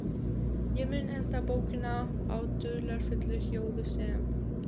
Ég mun enda bókina á dularfullu ljóði sem